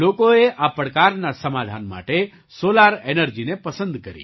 લોકોએ આ પડકારના સમાધાન માટે સૉલાર એનર્જીને પસંદ કરી